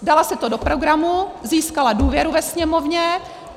Dala si to do programu, získala důvěru ve Sněmovně.